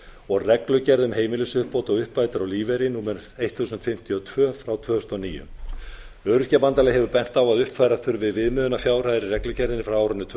og reglugerð um heimilisuppbót og uppbætur á lífeyri númer eitt þúsund fimmtíu og tvö tvö þúsund og níu öryrkjabandalagið hefur bent á að uppfæra þurfi viðmiðunarfjárhæðir í reglugerðinni frá árinu tvö